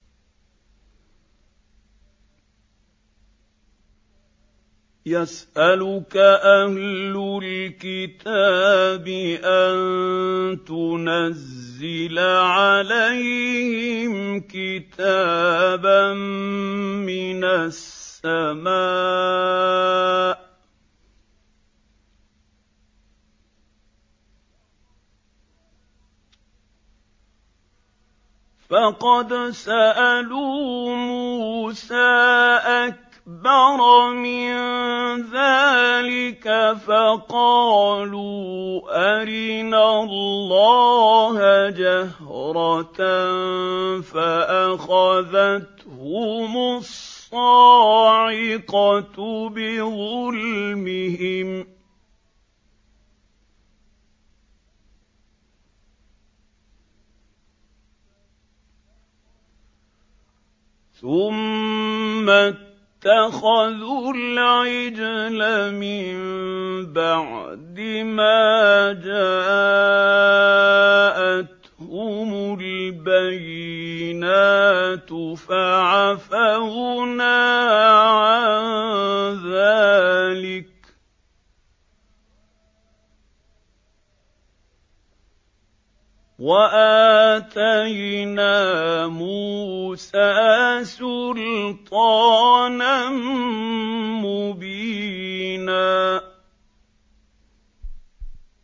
يَسْأَلُكَ أَهْلُ الْكِتَابِ أَن تُنَزِّلَ عَلَيْهِمْ كِتَابًا مِّنَ السَّمَاءِ ۚ فَقَدْ سَأَلُوا مُوسَىٰ أَكْبَرَ مِن ذَٰلِكَ فَقَالُوا أَرِنَا اللَّهَ جَهْرَةً فَأَخَذَتْهُمُ الصَّاعِقَةُ بِظُلْمِهِمْ ۚ ثُمَّ اتَّخَذُوا الْعِجْلَ مِن بَعْدِ مَا جَاءَتْهُمُ الْبَيِّنَاتُ فَعَفَوْنَا عَن ذَٰلِكَ ۚ وَآتَيْنَا مُوسَىٰ سُلْطَانًا مُّبِينًا